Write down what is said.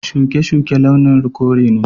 Shuke-shuke launin kore ne.